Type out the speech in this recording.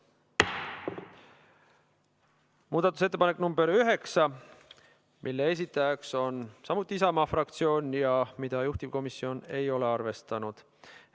Muudatusettepanek nr 9, mille esitaja on samuti Isamaa fraktsioon ja mida juhtivkomisjon ei ole arvestanud.